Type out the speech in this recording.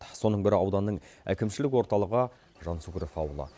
сол өңірлердің бірі ауданның әкімшілік орталығы жансүгіров ауылы